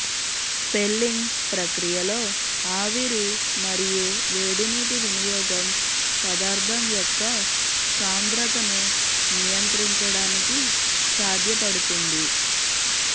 felling ప్రక్రియలో ఆవిరి మరియు వేడి నీటి వినియోగం పదార్థం యొక్క సాంద్రతను నియంత్రించడానికి సాధ్యపడుతుంది